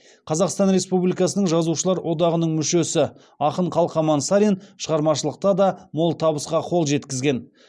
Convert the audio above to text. қазақстан республикасының жазушылар одағының мүшесі ақын қалқаман сарин шығармашылықта да мол табысқа қол жеткізген